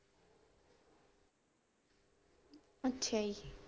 ਅੱਛਾ ਜੀ।